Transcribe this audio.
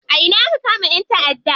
A ina aka kama ƴan taʼadda?